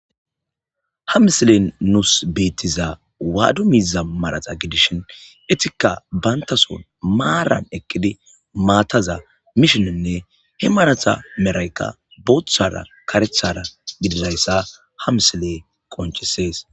ha misilen nuus beettiza waadu miiza marata gidishin etika bayntason maaran ekkidi maataza mishininne he marata meraykka booththara karethara gididayssa ha misiley qonchisees